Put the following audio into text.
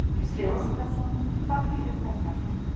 Gísli Óskarsson: Hvað þýðir þetta?